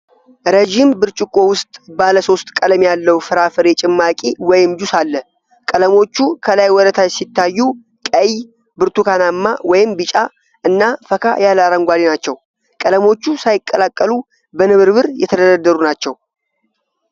ረዥም ብርጭቆ ውስጥ ባለ ሶስት ቀለም ያለው ፍራፍሬ ጭማቂ ወይም ጁስ አለ። ቀለሞቹ ከላይ ወደ ታች ሲታዩ ቀይ፣ ብርቱካናማ (ወይም ቢጫ) እና ፈካ ያለ አረንጓዴ ናቸው፤ ቀለሞቹ ሳይቀላቀሉ በንብርብር የተደረደሩ ናቸው።